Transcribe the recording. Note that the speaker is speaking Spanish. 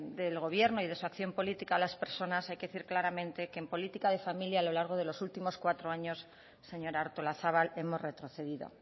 del gobierno y de su acción política a las personas hay que decir claramente que en política de familia a lo largo de los últimos cuatro años señora artolazabal hemos retrocedido